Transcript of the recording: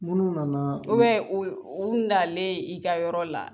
Minnu nana u bɛ u nalen i ka yɔrɔ la